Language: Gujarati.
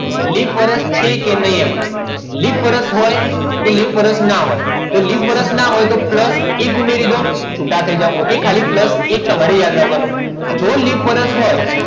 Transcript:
લીપ વર્ષ છે કે નહીં એમાં લિપ વર્ષ હોય કે લિપ વર્ષ ના હોય તો લીપ વર્ષ ના હોય તો plus એક ઉમેરી દો okay તો plus એક તમારે યાદ રાખવાનું. જો લિપ વર્ષ હોય